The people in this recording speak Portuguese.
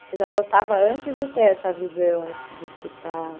Você já gostava antes de ter essa visão, de escutar?